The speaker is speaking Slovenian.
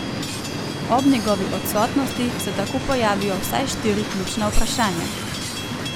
Ob njegovi odsotnosti se tako pojavijo vsaj štiri ključna vprašanja.